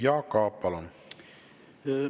Jaak Aab, palun!